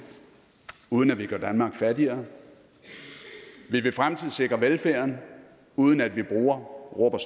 uden at vi gør danmark fattigere vi vil fremtidssikre velfærden uden at vi bruger rub og